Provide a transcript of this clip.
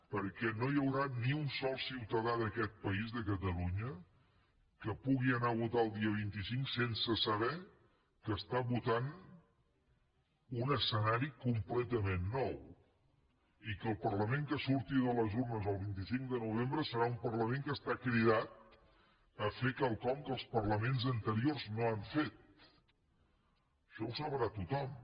perquè no hi haurà ni un sol ciutadà d’aquest país de catalunya que pugui anar a votar el dia vint cinc sense saber que està votant un escenari completament nou i que el parlament que surti de les urnes el vint cinc de novembre serà un parlament que està cridat a fer quelcom que els parlaments anteriors no han fet això ho sabrà tothom